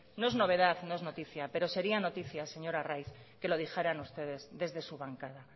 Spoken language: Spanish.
no es novedad no es noticia pero sería noticia señor arraiz que lo dijeran ustedes desde su bancada